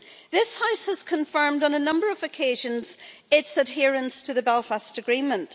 This House has confirmed on a number of occasions its adherence to the Belfast Agreement.